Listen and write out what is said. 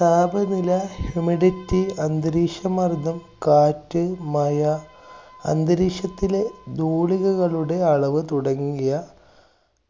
താപനില, humidity, അന്തരീക്ഷമര്‍ദ്ദം, കാറ്റ്, മഴ അന്തരീക്ഷത്തിലെ ധൂളികകളുടെ അളവുകൾ തുടങ്ങിയ